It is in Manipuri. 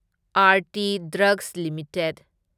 Aarti drugs limited